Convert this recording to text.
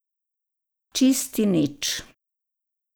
Čisti nič.